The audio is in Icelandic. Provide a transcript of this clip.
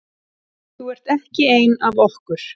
Þú ert ekki ein af okkur.